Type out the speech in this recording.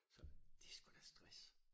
Så det sgu da stress